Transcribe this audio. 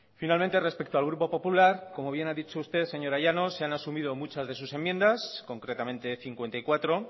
finalmente respecto al grupo popular como bien ha dicho usted señora llanos se han asumido muchas de sus enmiendas concretamente cincuenta y cuatro